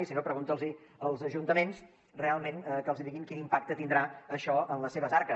i si no preguntin ho als ajuntaments realment que els diguin quin impacte tindrà això en les seves arques